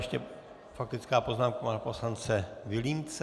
Ještě faktická poznámka pana poslance Vilímce.